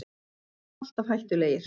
Þeir voru alltaf hættulegir